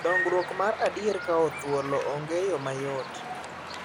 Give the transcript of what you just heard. Dongruok mar adier kawo thuolo onge yoo mayot